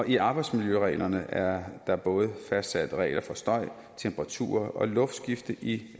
i arbejdsmiljøreglerne er der både fastsat regler for støj temperaturer og luftskifte i